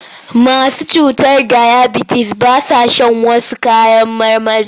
Masu cutar dayabitis ba sa shan wash kayan marmarin.